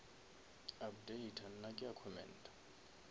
updata nna ke a commenta